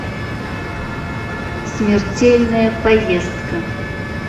смертельная поездка